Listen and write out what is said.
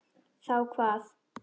Þá hvað?